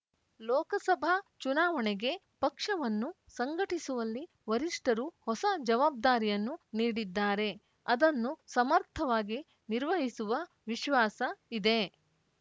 ಲೋಕಸಭಾ ಚುನಾವಣೆಗೆ ಪಕ್ಷವನ್ನು ಸಂಘಟಿಸುವಲ್ಲಿ ವರಿಷ್ಠರು ಹೊಸ ಜವಾಬ್ದಾರಿಯನ್ನು ನೀಡಿದ್ದಾರೆ ಅದನ್ನು ಸಮರ್ಥವಾಗಿ ನಿರ್ವಹಿಸುವ ವಿಶ್ವಾಸ ಇದೆ